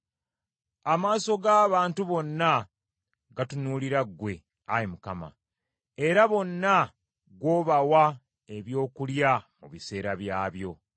Amaaso g’abantu bonna gatunuulira ggwe, Ayi Mukama , era bonna gw’obawa ebyokulya mu biseera byabyo.